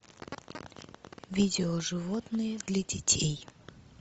видео животные для детей